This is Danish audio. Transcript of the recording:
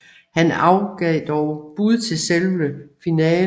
Han gav dog afbud til selve finalen